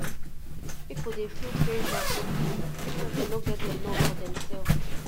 pipo dey feel pressure to give even wen dem no get enough for dem self